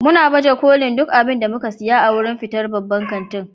muna baje kolin duk abin da muka saya a wurin fitar babban kantin.